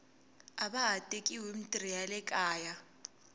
ava ha tekiwi himitirho ya le kaya